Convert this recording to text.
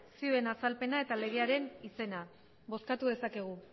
zioen azalpena eta legearen izena bozkatu dezakegu